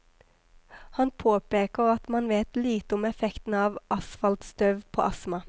Han påpeker at man vet lite om effekten av asfaltstøv på astma.